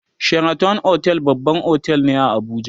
sheraton otel babban otel ne a Abuja